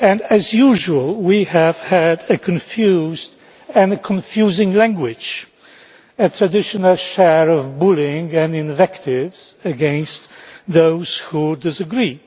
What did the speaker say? As usual we have had confused and confusing language, and the traditional share of bullying and invective against those who disagree.